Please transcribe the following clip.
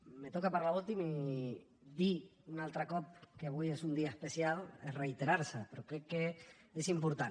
me toca parlar últim i dir un altre cop que avui és un dia especial és reiterar se però crec que és important